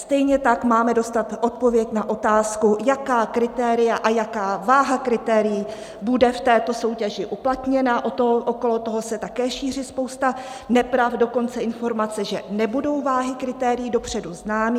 Stejně tak máme dostat odpověď na otázku, jaká kritéria a jaká váha kritérií bude v této soutěži uplatněna, okolo toho se také šíří spousta nepravd, dokonce informace, že nebudou váhy kritérií dopředu známé.